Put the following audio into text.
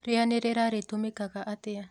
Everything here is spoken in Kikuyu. Rĩanĩrĩra rĩtũmĩkaga atĩa